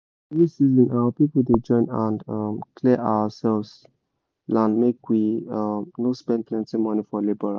every season our people dey join hand clear ourselves land make we no spend plenty money for labourer